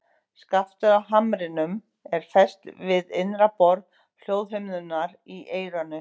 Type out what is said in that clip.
Skaftið á hamrinum er fest við innra borð hljóðhimnunnar í eyranu.